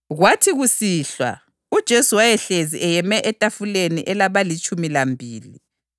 Kwathi kusihlwa, uJesu wayehlezi eyeme etafuleni elabalitshumi lambili.